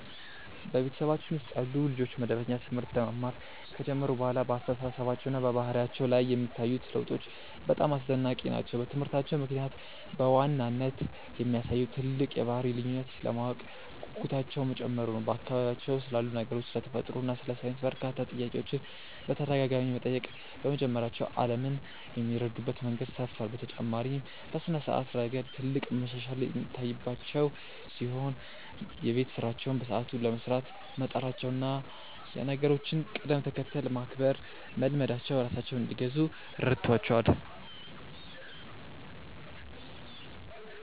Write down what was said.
በቤተሰባችን ውስጥ ያሉ ልጆች መደበኛ ትምህርት መማር ከጀመሩ በኋላ በአስተሳሰባቸውና በባህሪያቸው ላይ የሚታዩት ለውጦች በጣም አስደናቂ ናቸው። በትምህርታቸው ምክንያት በዋናነት ያሳዩት ትልቅ የባህሪ ልዩነት የማወቅ ጉጉታቸው መጨመሩ ነው፤ በአካባቢያቸው ስላሉ ነገሮች፣ ስለ ተፈጥሮ እና ስለ ሳይንስ በርካታ ጥያቄዎችን በተደጋጋሚ መጠየቅ በመጀመራቸው ዓለምን የሚረዱበት መንገድ ሰፍቷል። በተጨማሪም በስነ-ስርዓት ረገድ ትልቅ መሻሻል የታየባቸው ሲሆን፣ የቤት ስራቸውን በሰዓቱ ለመስራት መጣራቸውና የነገሮችን ቅደም-ተከተል ማክበር መልመዳቸው ራሳቸውን እንዲገዙ ረድቷቸዋል።